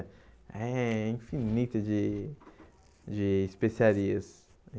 É infinita de de especiarias.